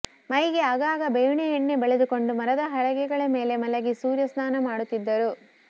ಮೈಗೆ ಆಗಾಗ ಬೇವಿನ ಎಣ್ಣೆ ಬಳಿದುಕೊಂಡು ಮರದ ಹಲಗೆಗಳ ಮೇಲೆ ಮಲಗಿ ಸೂರ್ಯಸ್ನಾನ ಮಾಡುತ್ತಿದ್ದರು